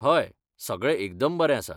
हय, सगळें एकदम बरें आसा.